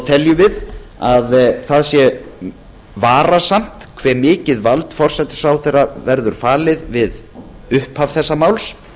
teljum við að það sé varasamt hve mikið vald forsætisráðherra verður falið við upphaf þessa máls